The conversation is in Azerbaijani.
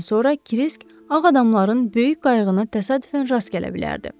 duman çəkilib getdikdən sonra Krisk Ağadamların böyük qayığına təsadüfən rast gələ bilərdi.